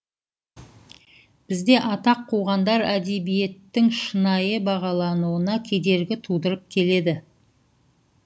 бізде атақ қуғандар әдебиеттің шынайы бағалануына кедергі тудырып келеді